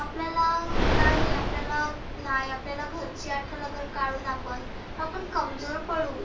आपल्याला आपल्याला नाही नाही आपल्याला घरची आठवन काढुन आपण तर आपण कमजोर पडु.